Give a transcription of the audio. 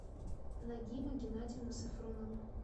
нагима геннадьевна сафронова